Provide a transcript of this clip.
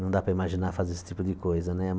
Não dá para imaginar fazer esse tipo de coisa, né?